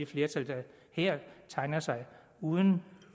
flertal der her tegner sig uden